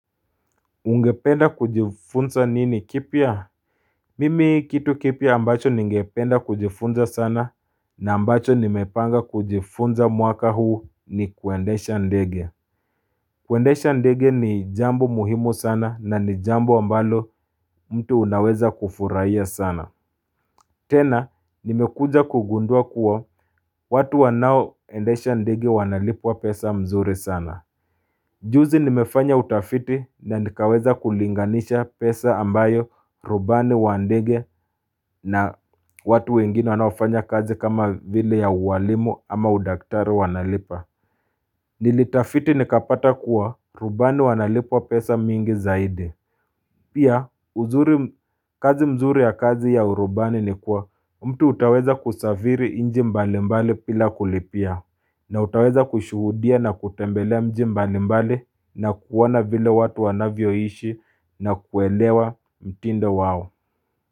Ungependa kujifunza nini kipya Mimi kitu kipya ambacho ningependa kujifunza sana na ambacho nimepanga kujifunza mwaka huu ni kuendesha ndege kuendesha ndege ni jambo muhimu sana na ni jambo ambalo mtu unaweza kufurahia sana tena nimekuja kugundua kuwa watu wanao endesha ndege wanalipwa pesa mzuri sana Juzi nimefanya utafiti na nikaweza kulinganisha pesa ambayo rubani wandege na watu wengine wanaofanya kazi kama vile ya uwalimu ama udaktari wanalipa Nilitafiti nikapata kuwa rubani wanalipwa pesa mingi zaidi Pia kazi mzuri ya kazi ya urubani ni kuwa mtu utaweza kusaviri inji mbalimbali pila kulipia na utaweza kushuhudia na kutembelea mjimbali mbali na kuona vile watu wanavyoishi na kuelewa mtindo wao.